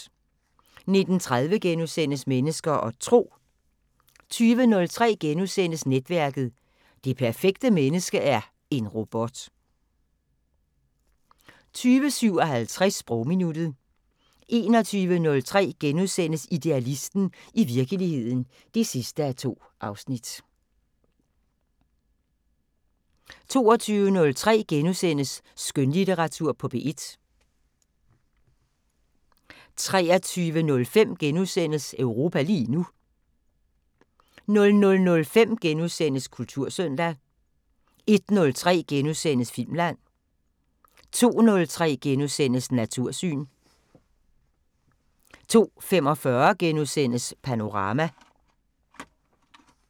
19:30: Mennesker og Tro * 20:03: Netværket: Det perfekte menneske er en robot * 20:57: Sprogminuttet 21:03: Idealisten – i virkeligheden (2:2)* 22:03: Skønlitteratur på P1 * 23:05: Europa lige nu * 00:05: Kultursøndag * 01:03: Filmland * 02:03: Natursyn * 02:45: Panorama *